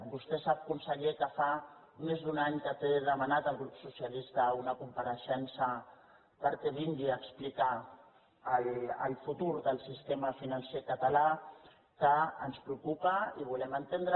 vostè sap conseller que fa més d’un any que té demanada el grup socialista una compareixença perquè vingui a explicar el futur del sistema financer català que ens preocupa i volem entendre